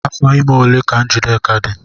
Afọ ime ole ka Njideka dị?